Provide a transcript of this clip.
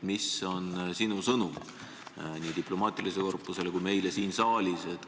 Mis on sinu sõnum nii diplomaatilisele korpusele kui ka meile siin saalis?